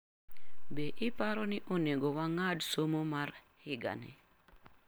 Be iparo ni onego wang'ad somo mar higani?